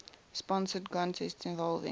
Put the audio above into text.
sponsored contests involving